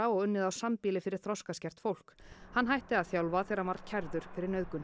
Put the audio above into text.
og unnið á sambýli fyrir þroskaskert fólk hann hætti að þjálfa þegar hann var kærður fyrir nauðgun